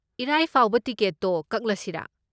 ꯏꯔꯥꯏ ꯐꯥꯎꯗ ꯇꯤꯀꯦꯠꯇꯣ ꯀꯛꯂꯁꯤꯔꯥ?